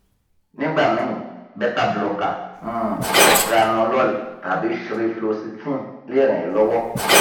nígbà míì bétabloker um propranolol tàbí ssri floxitine lè ràn ẹ́ lọ́wọ́